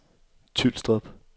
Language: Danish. Tylstrup